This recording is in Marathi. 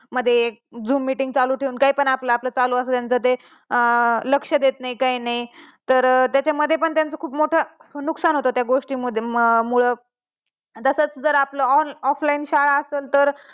मध्ये zoom meeting चालू ठेऊन काही पण चालू असत आपलं ते लक्ष देत नाही काही नाही तर त्या मध्ये पण खूप मोठ नुकसान त्या गोष्टी मुळे. त्यात जर आपलं offline शाळा असेल तर.